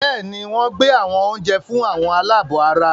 Bẹ́ẹ̀ni, wọ́n gbé àwọn oúnjẹ fún "àwọn aláàbọ̀ ara”